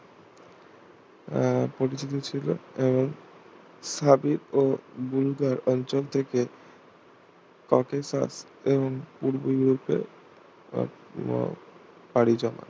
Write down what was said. আহ পরিচিত ছিল এবং হাবিব ও বুলগার্গ অঞ্চল থেকে ককেসান এবং পূর্ব ইউরোপে উম পাড়ি জমান